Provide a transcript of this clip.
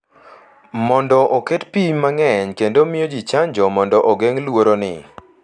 mondo oket pim mang’eny kendo miyo ji chanjo mondo ogeng’ luoroni.